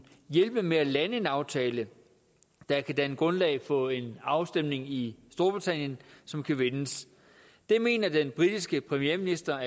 hjælpe med at lande en aftale der kan danne grundlag for en afstemning i storbritannien som kan vindes det mener den britiske premierminister